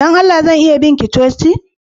Dan Allah zan iya bi ka coci?